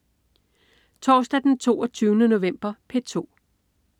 Torsdag den 22. november - P2: